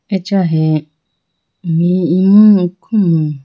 Acha he me imu khumku.